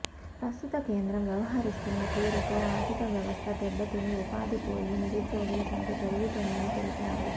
ప్రస్తుత కేంద్రం వ్యవహరిస్తున్న తీరుతో ఆర్థిక వ్యవస్థ దెబ్బతిని ఉపాధి పోయి నిరుద్యోగుల సంఖ్య పెరుగుతోందని తెలిపారు